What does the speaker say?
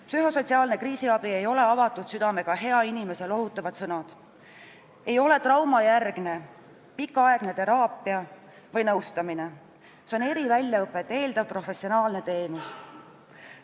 Psühhosotsiaalne kriisiabi ei ole avatud südamega hea inimese lohutavad sõnad, see ei ole traumajärgne pikaaegne teraapia või nõustamine, see on eriväljaõpet eeldav professionaalne teenus.